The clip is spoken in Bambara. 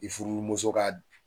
I furumuso ka